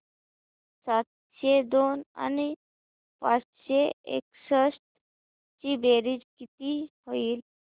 सातशे दोन आणि पाचशे एकसष्ट ची बेरीज किती होईल